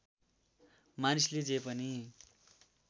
मानिसले जे पनि